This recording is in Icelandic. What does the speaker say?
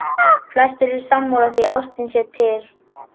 Flestir eru sammála því að ástin sé til.